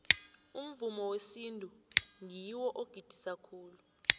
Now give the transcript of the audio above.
umvumo wesintu ngiwo ogidisa khulu